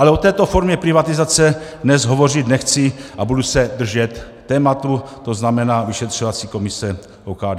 Ale o této formě privatizace dnes hovořit nechci a budu se držet tématu, to znamená vyšetřovací komise OKD.